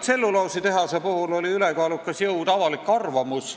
Tselluloositehase puhul oli ülekaalukas jõud avalik arvamus,